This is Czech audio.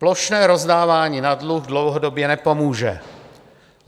Plošné rozdávání na dluh dlouhodobě nepomůže.